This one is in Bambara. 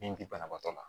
Min bi banabaatɔ la